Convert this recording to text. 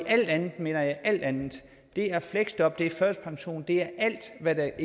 alt andet mener jeg alt andet det er fleksjob det er førtidspension og det er alt hvad der